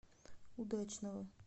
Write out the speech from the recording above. удачного